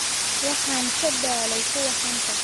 Waxaan ka daalay kuwa xanta